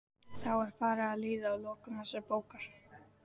Þá er farið að líða að lokum þessarar bókar.